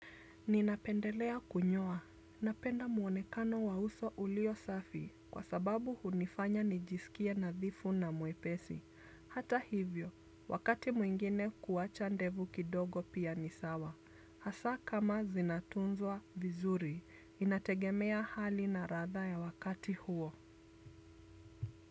Ninapendelea kunyoa. Napenda muonekano wa uso ulio safi kwa sababu hunifanya nijisikie nadhifu na mwepesi. Hata hivyo, wakati mwingine kuwacha ndevu kidogo pia ni sawa. Hasa kama zinatunzwa vizuri, inategemea hali na ladha ya wakati huo.